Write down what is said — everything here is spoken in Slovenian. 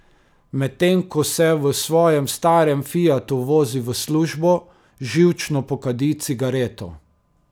Medtem ko se v svojem starem fiatu vozi v službo, živčno pokadi cigareto.